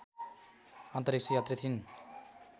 अन्तरिक्ष यात्री थिइन्